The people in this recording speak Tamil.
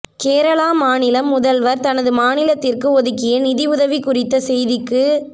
கேரள மாநிலம் முதல்வர் தனது மாநிலத்திற்கு ஒதுக்கிய நிதியுதவி குறித்த செய்திக்கு